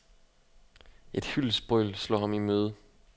Et hyldestbrøl slår ham imøde.